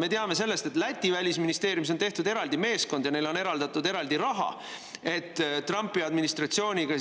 Me teame, et Läti välisministeeriumis on tehtud eraldi meeskond ja neile on eraldatud raha, et Trumpi administratsiooniga